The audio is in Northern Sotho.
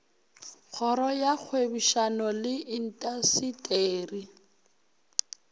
kgoro ya kgwebišano le intaseteri